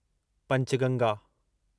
Panchganga